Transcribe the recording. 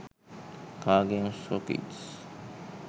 car games for kids